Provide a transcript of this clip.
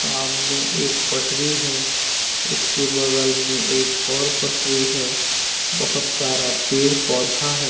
आमने एक पटरी है उसके बगल में एक और पटरी है बहुत सारा पेड़ पौधा है।